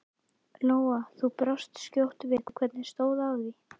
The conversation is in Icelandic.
Lóa: Þú brást skjótt við, hvernig stóð á því?